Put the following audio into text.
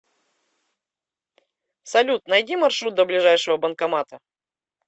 салют найди маршрут до ближайшего банкомата